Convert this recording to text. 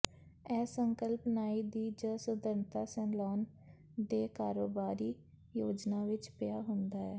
ਇਹ ਸੰਕਲਪ ਨਾਈ ਦੀ ਜ ਸੁੰਦਰਤਾ ਸੈਲੂਨ ਦੇ ਕਾਰੋਬਾਰੀ ਯੋਜਨਾ ਵਿੱਚ ਪਿਆ ਹੁੰਦਾ ਹੈ